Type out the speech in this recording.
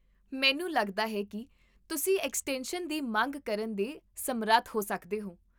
ਮੈਨੂੰ ਲੱਗਦਾ ਹੈ ਕਿ ਤੁਸੀਂ ਐਕਸਟੈਂਸ਼ਨ ਦੀ ਮੰਗ ਕਰਨ ਦੇ ਸਮਰੱਥ ਹੋ ਸਕਦੇ ਹੋ